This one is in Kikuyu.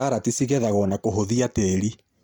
Karati cigethagwo na kũhũthia tĩri.